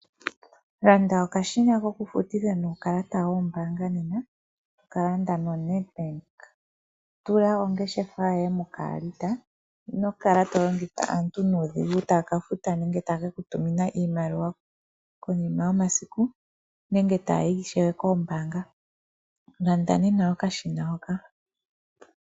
Landa okashina kokufutitha nuukalata wombaanga nena tokalanda noNetbank. Tula ongeshefa yoye mokaalita, ino kala to longitha aantu nuudhigu taa kafuta nenge taya ke ku tumina iimaliwa konima yomasiku nenge taayi ishewe koombanga. Landa nena okashina hoka.